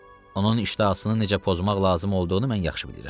Onun iştahasını necə pozmaq lazım olduğunu mən yaxşı bilirəm.